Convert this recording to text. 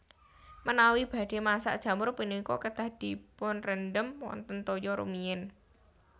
Menawi badhé masak jamur punika kedah dipunrendhem wonten toya rumiyin